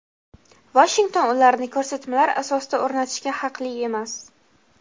Vashington ularni ko‘rsatmalar asosida o‘rnatishga haqli emas.